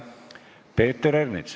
Peeter Ernits.